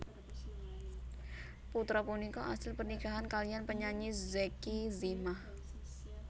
Putra punika asil pernikahan kaliyan penyanyi Zacky Zimah